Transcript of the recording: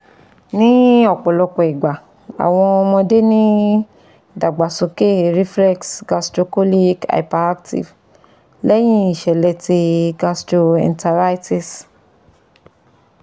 Ni ọpọlọpọ igba, awọn ọmọde ni idagbasoke reflex gastrocolic hyperactive lẹhin iṣẹlẹ ti gastroenteritis